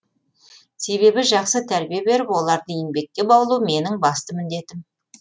себебі жақсы тәрбие беріп оларды еңбекке баулу менің басты міндетім